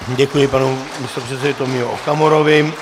Děkuji panu místopředsedovi Tomio Okamurovi.